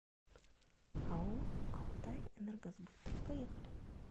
ао алтайэнергосбыт поехали